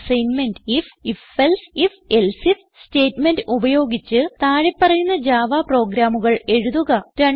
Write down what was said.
assignment IF if else if else IF statement ഉപയോഗിച്ച് താഴെ പറയുന്ന ജാവ പ്രോഗ്രാമുകൾ എഴുതുക